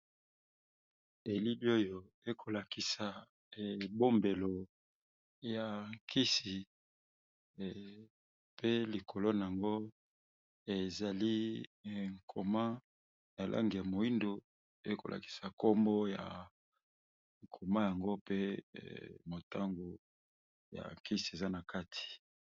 Elili oyo eko lakisa ebombelo ya kisi pe likolo na yango ezali nkoma na lange ya moindo eko lakisa kombo ya koma yango pe motango ya kisi eza na kati.